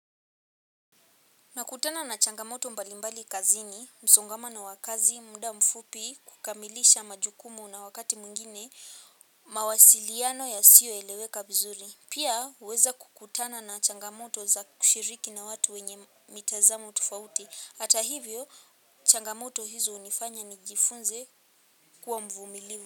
Nakutana na changamoto mbalimbali kazini, msongamano wa kazi, muda mfupi, kukamilisha majukumu na wakati mwingine, mawasiliano yasiyoeleweka vizuri. Pia, huweza kukutana na changamoto za kushiriki na watu wenye mitazamo tofauti. Hata hivyo, changamoto hizo hunifanya nijifunze kuwa mvumilivu.